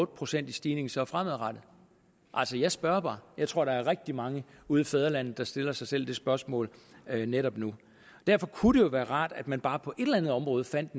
procent i stigning så fremadrettet altså jeg spørger bare jeg tror der er rigtig mange ude i fædrelandet der stiller sig selv det spørgsmål netop nu derfor kunne være rart at man bare på et eller andet område fandt